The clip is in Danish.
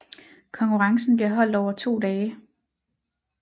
Konkurrencen bliver holdt over to dage